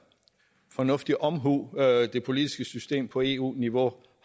fornuftig omhu det politiske system på eu niveau